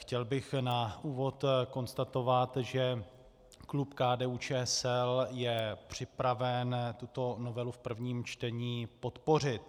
Chtěl bych na úvod konstatovat, že klub KDU-ČSL je připraven tuto novelu v prvním čtení podpořit.